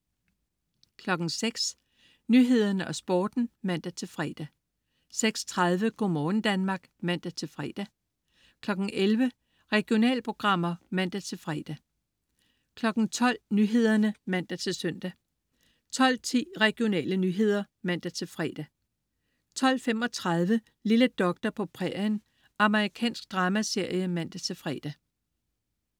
06.00 Nyhederne og Sporten (man-fre) 06.30 Go' morgen Danmark (man-fre) 11.00 Regionalprogrammer (man-fre) 12.00 Nyhederne (man-søn) 12.10 Regionale nyheder (man-fre) 12.35 Lille doktor på prærien. Amerikansk dramaserie (man-fre)